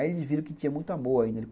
Aí eles viram que tinha muito amor ainda.